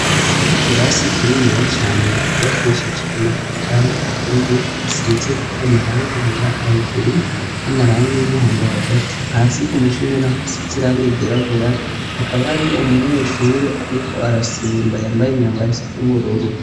Igirasi kinemiya cane yecubakishije amatafari atuye asinzeko amaranga yera hahejuru n'amaranga y'imuhondo hagati hasi ko mushingena hasi z'iranga gerabura hakaba hariyo umunyeshure, ariko arasimba yambaye imyambaraiso n'ubururu.